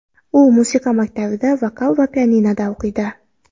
U musiqa maktabida, vokal va pianinoda o‘qiydi.